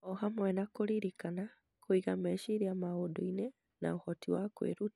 o hamwe na kũririkana, kũiga meciria maũndũ-inĩ, na ũhoti wa kwĩruta.